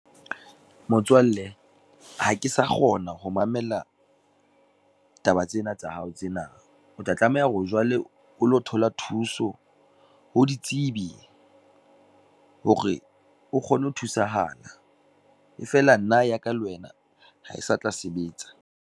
Motswalle, ha ke sa kgona ho mamela, taba tsena tsa hao tsena, o tla tlameha hore jwale o lo thola thuso ho ditsebi, hore o kgone ho thusahala, e feela nna ya ka le wena ha e sa tla sebetsa.